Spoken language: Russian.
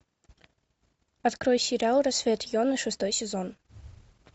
открой сериал рассвет йоны шестой сезон